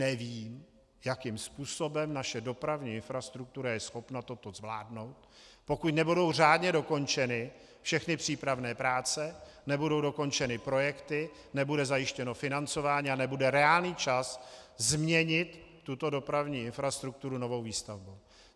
Nevím, jakým způsobem naše dopravní infrastruktura je schopna toto zvládnout, pokud nebudou řádně dokončeny všechny přípravné práce, nebudou dokončeny projekty, nebude zajištěno financování a nebude reálný čas změnit tuto dopravní infrastrukturu novou výstavbou.